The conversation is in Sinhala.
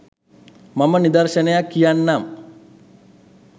මම නිදර්ශනයක් කියන්නම්